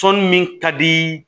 Tɔn min ka di